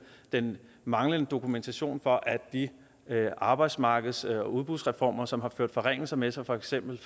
den manglende dokumentation for at de arbejdsmarkeds og udbudsreformer som har ført forringelser med sig for eksempel